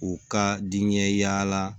U ka diɲɛla